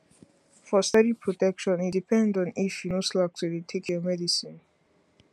for steady protection e depend on if you no slack to dey take your medicine